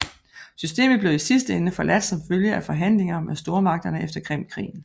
Systemet blev i sidste ende forladt som følge af forhandlinger med stormagterne efter Krimkrigen